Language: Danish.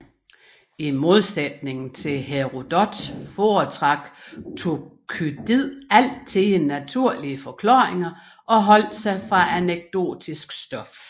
I modsætning til Herodot foretrak Thukydid altid naturlige forklaringer og holdt sig fra anekdotisk stof